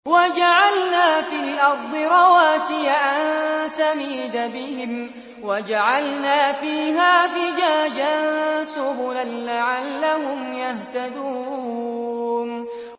وَجَعَلْنَا فِي الْأَرْضِ رَوَاسِيَ أَن تَمِيدَ بِهِمْ وَجَعَلْنَا فِيهَا فِجَاجًا سُبُلًا لَّعَلَّهُمْ يَهْتَدُونَ